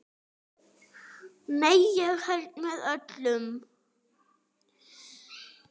Nei, ég held með öllum.